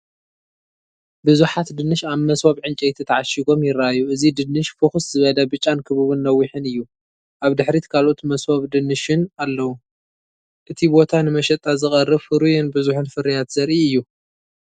ብዙሓት ድንሽ ኣብ መሶብ ዕንጨይቲ ተዓሺጎም ይረኣዩ። እቲ ድንሽ ፍኹስ ዝበለ ብጫን ክቡብን ነዊሕን እዩ። ኣብ ድሕሪት ካልኦት መሶብ ድንሽን ኣለዉ። እቲ ቦታ ንመሸጣ ዝቐርብ ፍሩይን ብዙሕን ፍርያት ዘርኢ እዩ።